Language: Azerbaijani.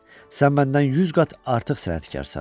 Sən məndən 100 qat artıq sənətkarsan.